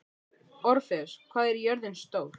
Orfeus, hvað er jörðin stór?